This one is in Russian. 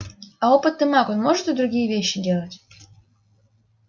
а опытный маг он может и другие вещи делать